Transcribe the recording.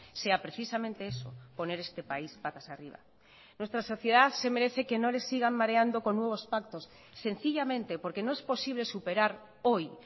sea precisamente eso poner este país patas arriba nuestra sociedad se merece que no le sigan mareando con nuevos pactos sencillamente porque no es posible superar hoy